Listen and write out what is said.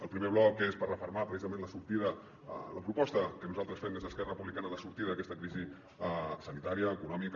el primer bloc és per refermar precisament la sortida la pro·posta que nosaltres fem des d’esquerra republicana de sortir d’aquesta crisi sani·tària econòmica